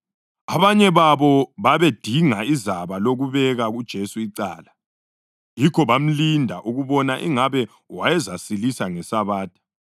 Abanye babo babedinga izaba lokubeka uJesu icala, yikho bamlinda ukubona ingabe wayezasilisa ngeSabatha.